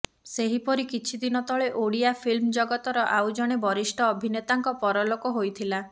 ସେହିପରି କିଛି ଦିନ ତଳେ ଓଡିଆ ଫିଲ୍ମ ଜଗତର ଆଉ ଜଣେ ବରିଷ୍ଠ ଅଭିନେତାଙ୍କ ପରଲୋକ ହୋଇଥିଲା